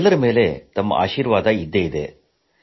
ಎಲ್ಲರ ಮೇಲೆ ನಿಮ್ಮ ಆಶೀರ್ವಾದವಿದೆ